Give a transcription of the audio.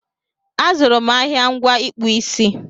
A zụrụ m ahịa ngwa ịkpụ isi